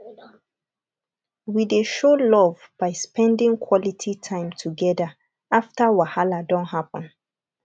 we dey show love by spending quality time together after wahala don happen